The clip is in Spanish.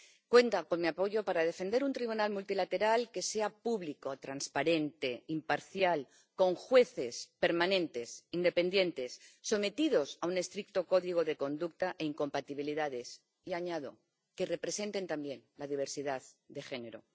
Cuenta con mi apoyo para defender un tribunal multilateral que sea público, transparente, imparcial, con jueces permanentes, independientes, sometidos a un estricto código de conducta e incompatibilidades y —añado— que representen también la diversidad de género